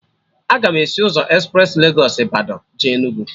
Aga m esi ụzọ espres Legos Ịbadọ jee Enugu